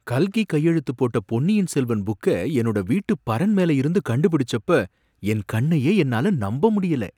கல்கி கையெழுத்து போட்ட பொன்னியின் செல்வன் புக்க என்னோட வீட்டு பரண் மேல இருந்து கண்டுபிடிச்சப்ப என் கண்ணையே என்னால நம்ப முடியல